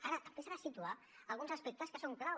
ara també s’han de situar alguns aspectes que són clau